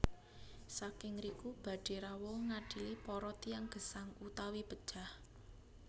Saking ngriku badhé rawuh ngadili para tiyang gesang utawi pejah